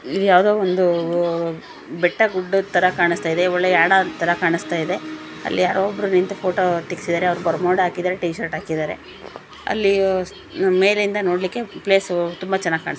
ಇಲ್ಲಿ ಯಾವುದೋ ಒಂದು ಓ ಬೆಟ್ಟ ಗುಡ್ಡ ತರ ಕಾಣಿಸ್ತಾ ಇದೆ. ಒಳ್ಳೆಯ ಯಾಣದ ತರ ಕಾಣಿಸ್ತಾ ಇದೆ. ಅಲ್ಲಿ ಯಾರೋ ಒಬ್ಬ ನಿಂತು ಫೋಟೋ ತೆಗೆಸಿದಾರೆ. ಅವರು ಬರ್ಮುಡಾ ಹಾಕಿದಾರೆ ಟೀಶರ್ಟ್ ಹಾಕಿದಾರೆ. ಅಲ್ಲಿ ಅಹ್ ಮೇಲಿಂದ ನೋಡಕ್ಕೆ ಪ್ಲೇಸ್ ತುಂಬಾ ಚೆನ್ನಾಗಿ ಕಾಣಸ್ತಿ--